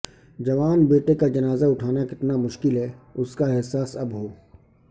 جوان بیٹے کا جنازہ اٹھانا کتنا مشکل ہے اس کا احساس اب ہو ا